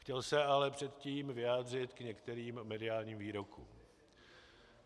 Chtěl se ale předtím vyjádřit k některým mediálním výrokům.